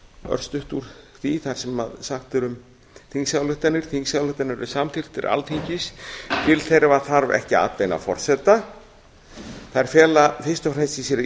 örstutt úr því það sem sagt er um þingsályktanir þingsályktanir eru samþykktir alþingis til þeirra þarf ekki atbeina forseta þær fela fyrst og fremst í sér